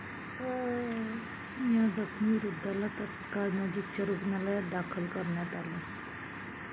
या जखमी वृद्धाला तत्काळ नजीकच्या रुग्णालयात दाखल करण्यात आले.